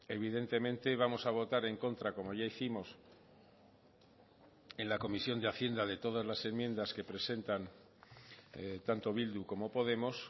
evidentemente vamos a votar en contra como ya hicimos en la comisión de hacienda de todas las enmiendas que presentan tanto bildu como podemos